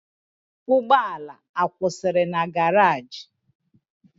Ugbo ala akwusiri na garage?